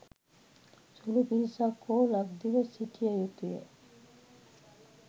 සුළු පිරිසක් හෝ ලක්දිව සිටිය යුතුය.